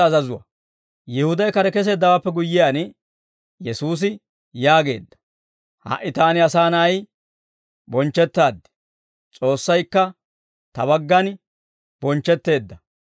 Yihuday kare keseeddawaappe guyyiyaan, Yesuusi yaageedda; «Ha"i Taani Asaa Na'ay bonchchettaaddi: S'oossaykka Ta baggana bonchchetteedda.